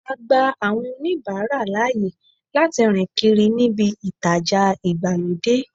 A gba àwọn oníbàárà láàyè láti rìn kiri níbí ìtajà ìgbàlódé.